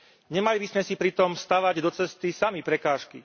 Nemali by sme si pritom stavať do cesty sami prekážky.